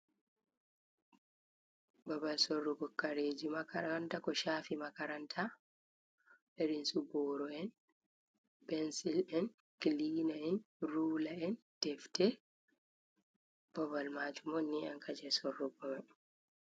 Babal sorrugo kareji makaranta ko shafi makaranta, irinsu boro en pensil en klina’en rula’en defte, babal majum on ni ankam je sorrugo en.